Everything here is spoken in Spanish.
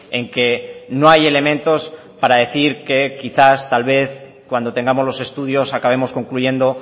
en que no hay elementos para decir que quizás tal vez cuando tengamos los estudios acabemos concluyendo